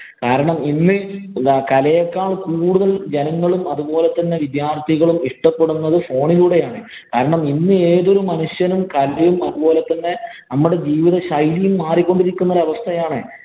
കാരണം, ഇന്ന് കലയെക്കാള്‍ കൂടുതല്‍ ജനങ്ങളും, അതുപോലെ തന്നെ വിദ്യാര്‍ത്ഥികളും ഇഷ്ടപ്പെടുന്നത് phone ഇലൂടെയാണ്. കാരണം ഇന്ന് ഏതൊരു മനുഷ്യനും കലയും അതുപോലെ തന്നെ നമ്മടെ ജീവിതശൈലിയായി മാറികൊണ്ടിരിക്കുന്ന ഒരവസ്ഥയാണ്.